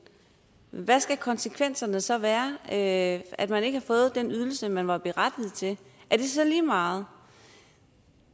hvad skal konsekvenserne så være af at man ikke har fået den ydelse man var berettiget til er det så lige meget